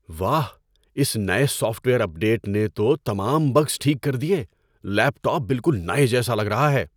واہ، اس نئے سافٹ ویئر اپ ڈیٹ نے تو تمام بگز ٹھیک کر دیے۔ لیپ ٹاپ بالکل نئے جیسا لگ رہا ہے!